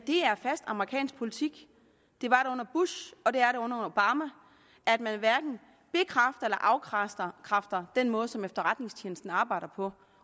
er fast amerikansk politik det var det under bush og det er det under obama at man hverken bekræfter eller afkræfter den måde som efterretningstjenesten arbejder på